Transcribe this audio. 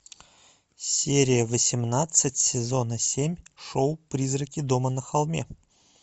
серия восемнадцать сезона семь шоу призраки дома на холме